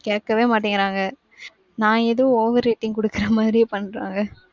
கேக்கவே மாட்டிக்கிறாங்க. நான் எதோ overrating குடுக்குறமாதிரி பன்றாங்க.